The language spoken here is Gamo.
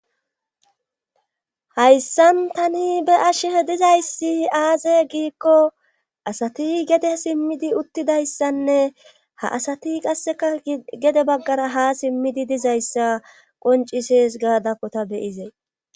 hayssan tani be ashee dizayssi aaze giikko asati gede simmidi uttidayssanne ha asati qasseka gede baggara ha simmidi dizayssa qoncises gaadakko ta beyizee